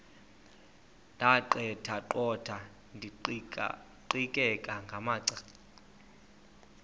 ndaqetheqotha ndiqikaqikeka ngamacala